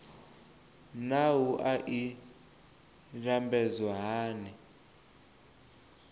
naa wua i lambedzwa hani